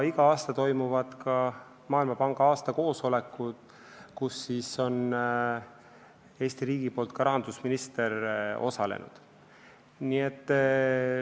Iga aasta toimuvad ka Maailmapanga aastakoosolekud, kus Eesti riigi poolt on osalenud rahandusminister.